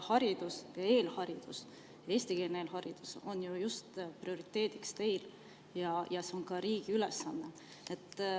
Haridus ja eelharidus, eestikeelne haridus on ju just teie prioriteet ja see on ka riigi ülesanne.